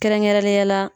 Kɛrɛnkɛrɛnnenya la